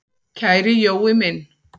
Kæri Jói minn!